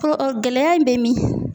gɛlɛya in bɛ min ?